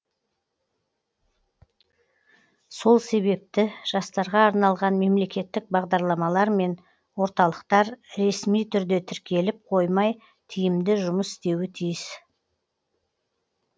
сол себепті жастарға арналған мемлекеттік бағдарламалар мен орталықтар ресми түрде тіркеліп қоймай тиімді жұмыс істеуі тиіс